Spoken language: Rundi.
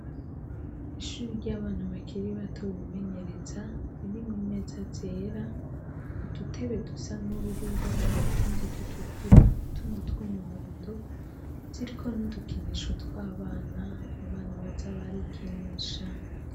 Ishuri ry'abana bakiri bato bimenyereza ,ririmwo imeza zera ,dutebe dusa n'ubururu, utundi dutukura ,n'utundi tw'umuhondo, ziriko n'udukinisho tw'abana, abana baza barikinisha.